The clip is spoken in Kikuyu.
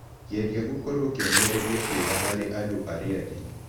Geria gũkorũo kĩonereria kĩega harĩ andũ arĩa angĩ.